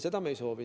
Seda me ei soovi.